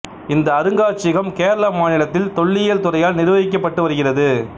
இந்த அருங்காட்சியகம் கேரள மாநிலத்தில் தொல்லியல் துறையால் நிர்வகிக்கப்பட்டு வருகிறது